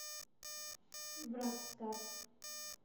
врагстар